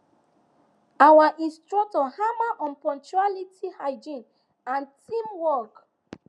our instructor hammer on punctuality hygiene and teamwork